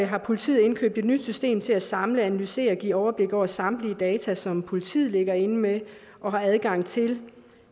har politiet indkøbt et nyt system til at samle analysere og give overblik over samtlige data som politiet ligger inde med og har adgang til